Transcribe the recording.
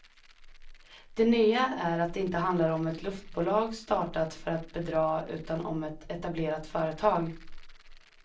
Det nya är att det inte handlar om ett luftbolag startat för att bedra utan om ett etablerat företag.